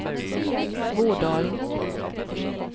Bådalen